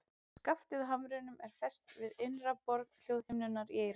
Skaftið á hamrinum er fest við innra borð hljóðhimnunnar í eyranu.